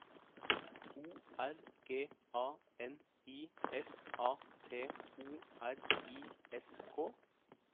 O R G A N I S A T O R I S K